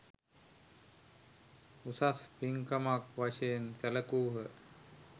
උසස් පින්කමක් වශයෙන් සැලකූහ.